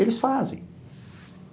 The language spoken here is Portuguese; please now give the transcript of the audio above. Eles fazem.